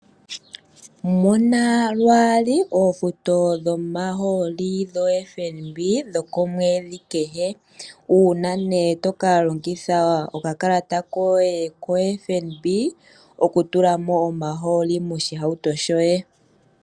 Mona lwaali oofuto dhomahooli dho FNB dhoko mwedhi kehe. Uuna nee tokalongidha oka kalata koye ko FNB oku tula mo omahooli noshihauto shoye.